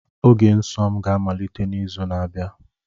Oge nsọ m ga-amalite n'izu na-abịa